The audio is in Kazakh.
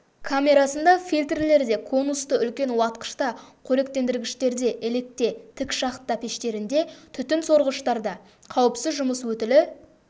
камерасында фильтрлерде конусты үлкен уатқышта қоректендіргіштерде електе тік шахта пештерінде түтін сорғыштарда қауіпсіз жұмыс өтілі